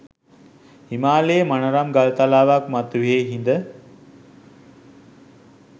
හිමාලයේ මනරම් ගල් තලාවක් මතුයෙහි හිඳ